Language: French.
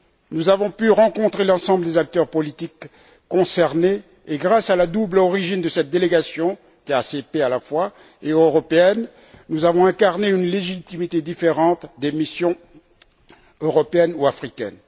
Nous avons pu rencontrer l'ensemble des acteurs politiques concernés et grâce à la double origine de cette délégation, à la fois ACP et européenne, nous avons incarné une légitimité différente des missions européennes ou africaines.